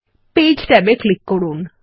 page ট্যাবে click করুন